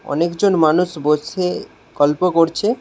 অনেকজন মানুষ বসে গল্প করছে।